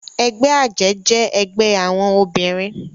Ègbè àjè jè ègbè áwòn óbirin